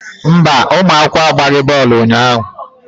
Mba, ụmụ akwụkwọ agbaghị bọọlụ unyaahụ.